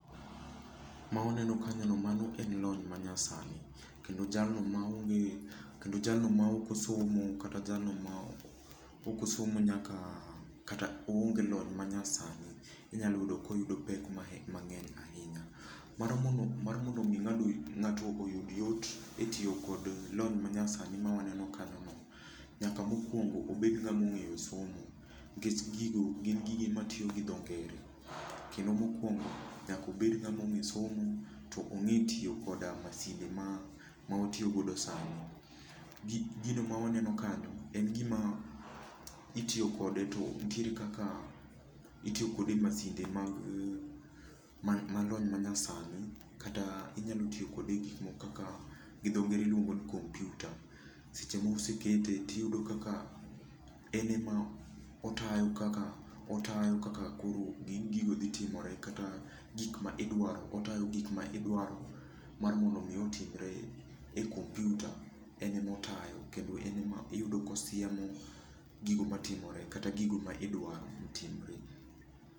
Ma uneno kanyono mano en lony manyasani kendo jalno ma ok osomo kata jalno mosomo nyaka kata oonge lony manyasani, inyalo yudo koyudo pek mang'eny ahinya. Mar mondo mi ng'ato oyud yot mar tiyo hgi lony manyasani ma wane o kanyono, nyaka mokuongo obed ng'ama ong'eyo somo, nikech gigo gin gik matiyo gi dho ngere. Kendo mokuongo nyaka obed ng'ama ong'eyo somo kendo ong'e tiyo gi masinde ma watiyogo sani. Gino ma waneno kanyo nitie kaka itiyo kode e masinde ma lony manyasani itiyo kode e masin ma dho ngere luongo ni kompiuta , seche moko osekete to iyudo kaka en ema otayo kaka otayo kaka koro gigo dhi timore gik ma idwaro, otayo gik ma idwaro mar mondo mi otimre e kompiuta, en ema otayo kendo en ema iyudo ka osiemo gigo matimore kata gigo ma idwaro notimre.